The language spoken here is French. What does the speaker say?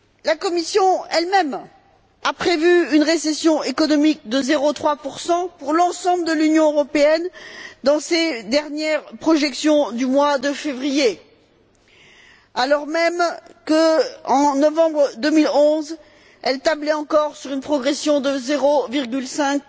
La Commission elle même a prévu une récession économique de 0,3 pour l'ensemble de l'Union européenne dans ses dernières projections du mois de février, alors même qu'en novembre 2011, elle tablait encore sur une progression de 0,5